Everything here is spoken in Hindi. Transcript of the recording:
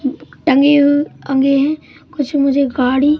टंगे हु टंगे है कुछ मुझे गाड़ी--